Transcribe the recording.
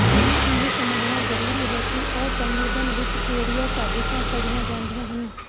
ਹੁਣ ਇਹ ਸਮਝਣਾ ਜ਼ਰੂਰੀ ਹੈ ਕਿ ਅਸੰਵੇਦਨ ਵਿਚ ਕਿਹੜੀਆਂ ਸਾਜਿਸ਼ਾਂ ਪੜ੍ਹੀਆਂ ਜਾਂਦੀਆਂ ਹਨ